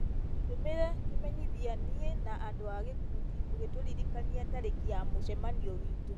tũtũmĩre kĩmenyithia niĩ na andũ a gĩkundi ũgĩtũririkania tarĩki ya mũcemanio witũ